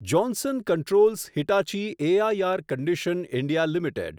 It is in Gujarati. Johnson Controls Hitachi A I R condition. India limited